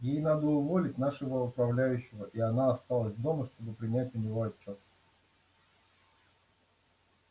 ей надо уволить нашего управляющего и она осталась дома чтобы принять у него отчёт